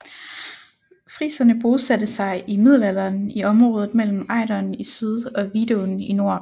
Friserne bosatte sig i middelalderen i området mellem Ejderen i syd og Vidåen i nord